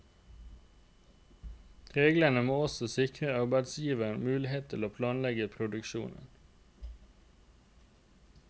Reglene må også sikre arbeidsgivers mulighet til å planlegge produksjonen.